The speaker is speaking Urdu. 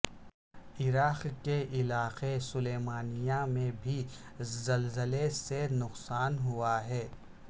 عراق کے علاقے سلیمانیہ میں بھی زلزلے سے نقصان ہوا ہے